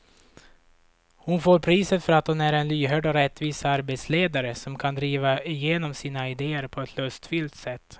Hon får priset för att hon är en lyhörd och rättvis arbetsledare som kan driva igenom sina idéer på ett lustfyllt sätt.